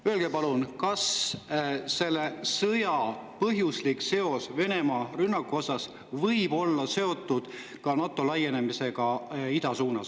Öelge palun, kas selle sõja, Venemaa rünnaku põhjus võib olla seotud NATO laienemisega ida suunas.